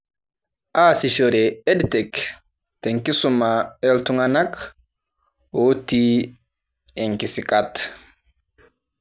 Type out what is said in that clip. Aasishore Ed Tech tenkisuma ooltung'anak ooti inkisikat.